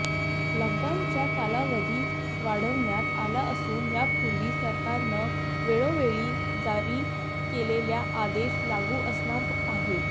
लॉकडाऊनचा कालावधी वाढवण्यात आला असून यापूर्वी सरकारनं वेळोवेळी जारी केलेले आदेश लागू असणार आहेत